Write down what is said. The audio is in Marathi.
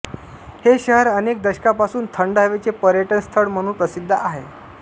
हे शहर अनेक दशकांपासून थंड हवेचे पर्यटनस्थळ म्हणून प्रसिद्ध आहे